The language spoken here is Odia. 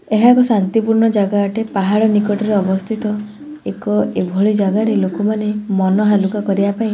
ଏହା ଏକ ଶାନ୍ତିପୂର୍ଣ୍ଣ ଜାଗା ଅଟେ ପାହାଡ ନିକଟରେ ଅବସ୍ଥିତ ଏକ ଏଭଳି ଜାଗାରେ ଲୋକମାନେ ମନ ହାଲୁକା କରିବା ପାଇଁ--